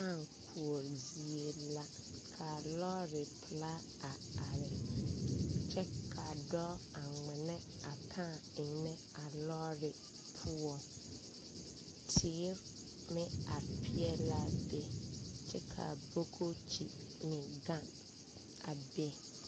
Kaa koɔre zie la ka lɔɔre pelaa are kyɛ ka dɔɔ kaŋa de a kaa eŋnɛ a lɔɔre poɔ teere meŋ are peɛle la a be kyɛ ka a ti meŋ gaŋ a be.